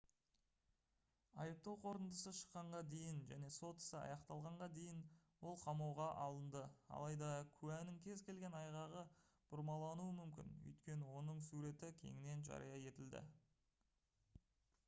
айыптау қорытындысы шыққанға дейін және сот ісі аяқталғанға дейін ол қамауға алынды алайда куәнің кез келген айғағы бұрмалануы мүмкін өйткені оның суреті кеңінен жария етілді